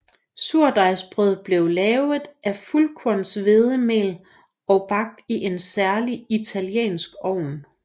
Surdejsbrødet blev lavet af fuldkornshvedemel og bagt i en særlig italiensk ovn